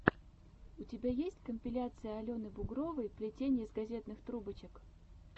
у тебя есть компиляция алены бугровой плетение из газетных трубочек